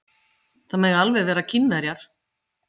Kristján: Það mega alveg vera Kínverjar?